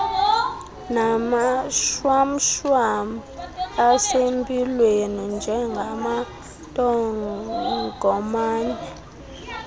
namashwamshwam asempilweni njengamantongomane